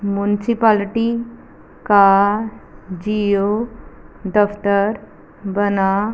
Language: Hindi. म्युनिसिपालिटी का जिओ दफ्तर बना--